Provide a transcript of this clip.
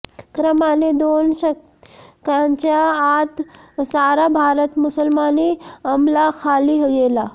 क्रमाने दोन शतकांच्या आत सारा भारत मुसलमानी अमलाखाली गेला